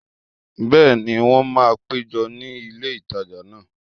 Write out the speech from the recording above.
Bẹ́ẹ̀ni, wọ́n máa péjọ ní ilé ìtajà náà